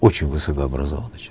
очень высокообразованный